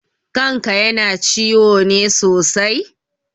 Kan ka yana ciwo ne sosai?